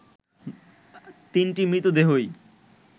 তিনটি মৃতদেহই